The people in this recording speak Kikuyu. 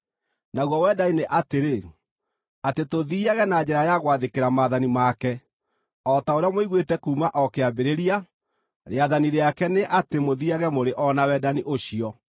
Naguo wendani nĩ atĩrĩ: Atĩ tũthiiage na njĩra ya gwathĩkĩra maathani make. O ta ũrĩa mũiguĩte kuuma o kĩambĩrĩria, rĩathani rĩake nĩ atĩ mũthiiage mũrĩ o na wendani ũcio.